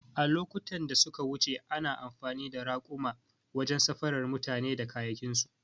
A lokutan da suka wuce ana amfani da raƙuma wajen safarar mutane da kayayyakinsu